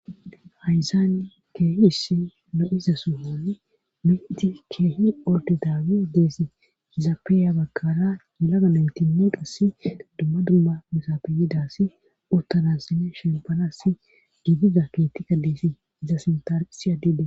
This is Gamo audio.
hayzaani keehi issi lo7iza sohoni miti keehi ordi daagey deesi izape ya bagara yelaga naytinne qasse dumma dumma misapeyidassi uttanasine shembalassi giidiza keetika deefi iza sintan issi adey des